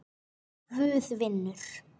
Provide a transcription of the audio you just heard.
Guð vinnur.